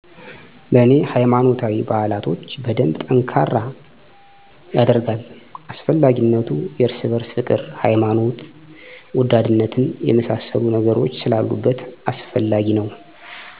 ለኔ ሃይማኖታዊ ባህላቶች በደንብ ጠንካራ የደርጋል። አስፈላጊነቱ የርስ በርስ ፍቅር፣ ሀይማኖት ወዳድነትን የመሳሰሉ ነገሮች ስላሉበት አስፈላጊ ነው